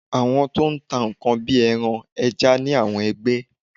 Àwọn to n tà nkán bi eran, eja ni awọn ẹgbẹ́